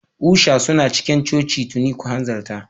Usha suna cikin coci tuni, ku hanzarta.